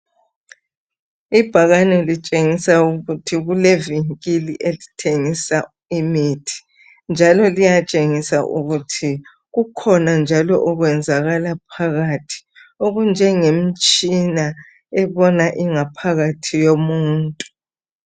Ibhakane litshengisa ukuthi kulevinkili elithengisa imithi njalo liyatshengisa ukuthi kukhona njalo okwenzakala phakathi okuyimtshina ebona ingaphakathi yomuntu.